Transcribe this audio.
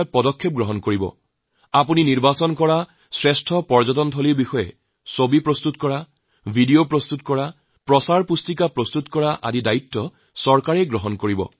এনে উত্তম স্থানক লৈ ছবি নিৰ্মাণ ভিডিঅ নিৰ্মাণ প্ৰচাৰ সাহিত্য প্ৰস্তুত কৰা বাহবা দিয়াআপোনাৰ দ্বাৰা নিৰ্ণয় কৰা বিষয়ত চৰকাৰে মানি লব